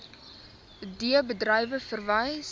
d bedrywe vereis